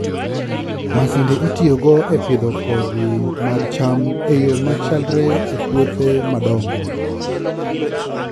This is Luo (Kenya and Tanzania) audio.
Masinde itiyogo e pidho kodhi mag cham e yo machalre e puothe madongo.